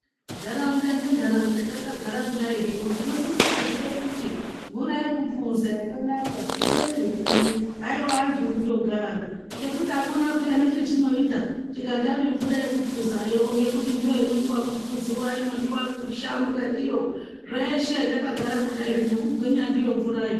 Ntaraunda ngentaraunda takagara kudai zvino, tinosise kuziye kuti mvura yekuphuza yakanaka tinoione kuri. Haiwa antu kundogara, ngekuti hakuna pheyana chetinoita tikatame mvura yekuphuzayo ngekuti ndoinodiwa kuphuziwa, inodiwa kushambwa ndiyo. Zveshe, takagara kudai zvino, kugwinya ndiyo mvurayo.